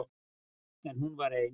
En hún var ein.